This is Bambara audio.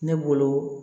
Ne bolo